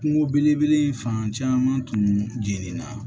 Kungo belebele in fan caman tun jenina